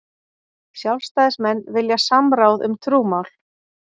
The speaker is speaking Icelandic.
Sjálfstæðismenn vilja samráð um trúmál